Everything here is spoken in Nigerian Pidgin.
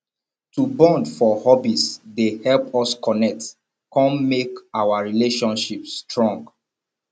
to bond for hobbies dey help us connect come make our relationships strong